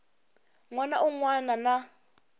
n wana un wana na